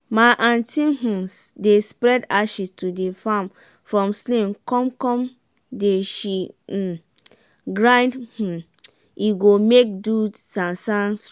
some farmers dey bury fish leftover for where dem wan plant make e help the root of de plant.